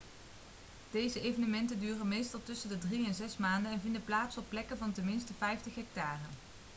deze evenementen duren meestal tussen de drie en zes maanden en vinden plaats op plekken van ten minste 50 hectare